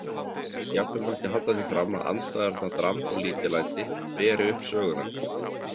Jafnvel mætti halda því fram að andstæðurnar dramb og lítillæti beri upp söguna.